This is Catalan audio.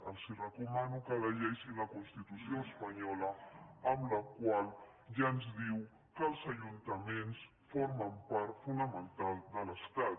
els recomano que llegeixin la constitució espanyola la qual ja ens diu que els ajuntaments formen part fonamental de l’estat